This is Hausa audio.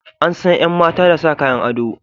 An san yan mata da sa Kayan ado.